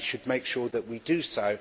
We should make sure that we do so.